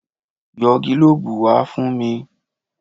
Yọ gílòòòbù wá fún mi.